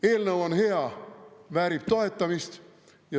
Eelnõu on hea, väärib toetamist.